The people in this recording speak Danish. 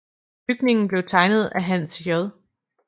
Bygningen blev tegnet af Hans J